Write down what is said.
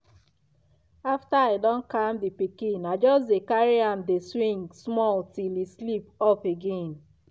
after i don calm the pikin i just dey carry am dey swing small till e sleep off again